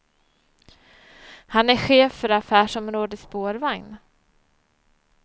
Han är chef för affärsområde spårvagn.